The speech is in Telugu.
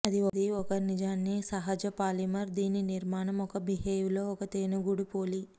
అది ఒక నిజాన్ని సహజ పాలీమర్ దీని నిర్మాణం ఒక బీహైవ్ లో ఒక తేనెగూడు పోలి